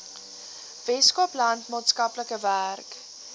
weskaapland maatskaplike werk